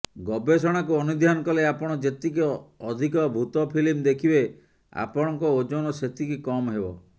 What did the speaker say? ଗବେଷଣାକୁ ଅନୁଧ୍ୟାନ କଲେ ଆପଣ ଯେତିକି ଅଧିକ ଭୂତ ଫିଲ୍ମ ଦେଖିବେ ଆପଣଙ୍କ ଓଜନ ସେତିକି କମ ହେବ